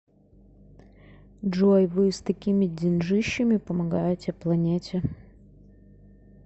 джой вы с такими деньжищами помогаете планете